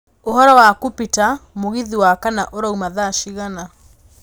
ũhoro wakũ peter, mũgithi wa kana ũrauma thaa cigana